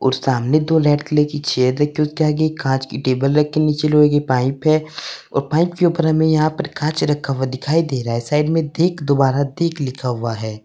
और सामने दो लैड के लिए की चेयर रखी है। उसके आगे एक कांच की टेबल रखी है। नीचे लोहे की पाइप है और पाइप के ऊपर हमें यहां पर कांच रखा हुआ दिखाई दे रहा है। साइड में देख दोबारा देख लिखा हुआ है।